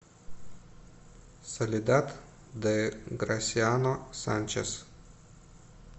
соледад де грасиано санчес